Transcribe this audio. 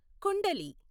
kundali